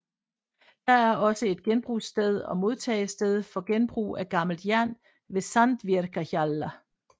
Der er også en genbrugssted og modtagested for genbrug af gammelt jern ved Sandvíkarhjalla